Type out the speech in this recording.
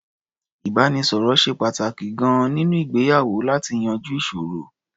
Ìbánisọ̀rọ̀ ṣe pàtàkì gan-an nínú ìgbéyàwó láti yanjú ìṣòro.